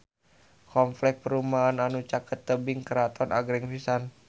Kompleks perumahan anu caket Tebing Keraton agreng pisan